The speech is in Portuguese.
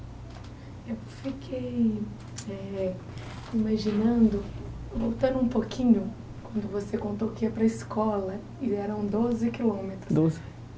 Eu fiquei eh imaginando, voltando um pouquinho, quando você contou que ia para a escola, e eram doze quilômetros. Doze